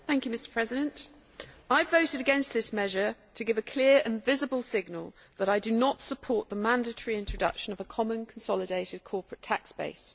Mr President, I voted against this measure to give a clear and visible signal that I do not support the mandatory introduction of a common consolidated corporate tax base.